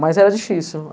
Mas era difícil.